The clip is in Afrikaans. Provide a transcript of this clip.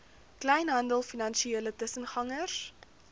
kleinhandel finansiële tussengangers